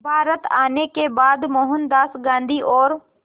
भारत आने के बाद मोहनदास गांधी और